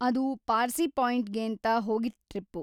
ಅದು ಪಾರ್ಸಿ ಪಾಯಿಂಟ್‌ಗೇಂತ ಹೋಗಿದ್ ಟ್ರಿಪ್ಪು.